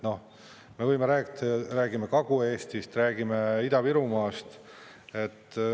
Noh, me võime rääkida, räägime Kagu-Eestist ja räägime Ida-Virumaast.